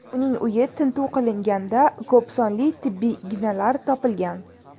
Uning uyi tintuv qilinganda ko‘p sonli tibbiy ignalar topilgan.